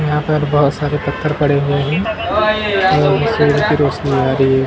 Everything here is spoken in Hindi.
यहाँ पर बहुत सारे पत्थर पड़े हुए हैं और सूरज की रोशनी आ रही है पीछे --